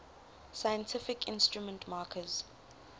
scientific instrument makers